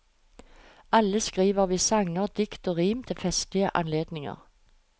Alle skriver vi sanger, dikt og rim til festlige anledninger.